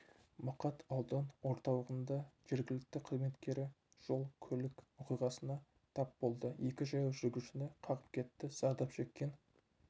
мақат аудан орталығында жергілікті қызметкері жол-көлік оқиғасына тап болды екі жаяу жүргіншіні қағып кетті зардап шеккен